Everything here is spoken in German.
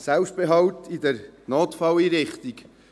Selbstbehalt in der Notfalleinrichtung.